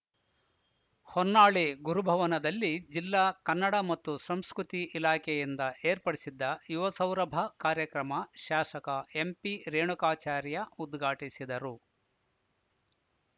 ಹೊನ್ನಾಳಿ ಗುರುಭವನದಲ್ಲಿ ಜಿಲ್ಲಾ ಕನ್ನಡ ಮತ್ತು ಸಂಸ್ಕೃತಿ ಇಲಾಖೆಯಿಂದ ಏರ್ಪಡಿಸಿದ್ದ ಯುವ ಸೌರಭ ಕಾರ್ಯಕ್ರಮ ಶಾಸಕ ಎಂಪಿರೇಣುಕಾಚಾರ್ಯ ಉದ್ಘಾಟಿಸಿದರು